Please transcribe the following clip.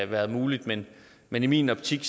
været muligt men men i min optik